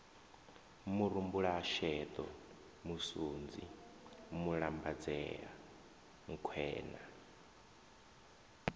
murumbulasheḓo musunzi mulambadzea nkhwe na